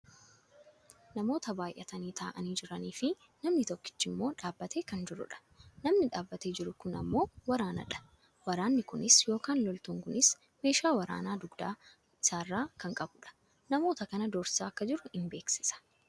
Namoota baayyatanii taa'anii jiraniifi namni tokkichi ammoo dhaabbatee kan jirudha. Namni dhaabbatee jiru kun ammoo waraanadha. Waraanni kunis yookaan loltuun kunis meeshaa waraanaa dugda isaarraa kan qabudha. Namoota kana doorsisaa akka jiru ni beeksisa.